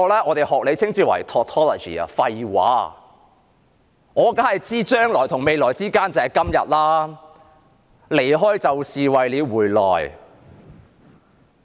我當然明白"將來與未來之間......就是今天"、"離開就是為了回來"。